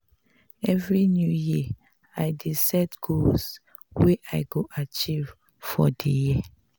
every new year i dey set goals wey i go achieve for di year.